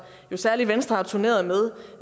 særlig venstre har turneret med